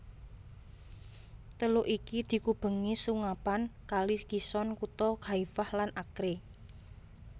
Teluk iki dikubengi sungapan Kali Kishon kutha Haifa lan Acre